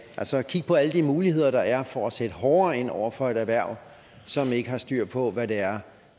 altså kigge på alle de muligheder der er for at sætte hårdere ind over for et erhverv som ikke har styr på hvad det er